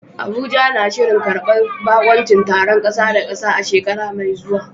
Abuja na shirin karbar baƙuncin taron ƙasa da ƙasa a shekara mai zuwa.